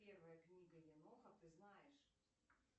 первая книга еноха ты знаешь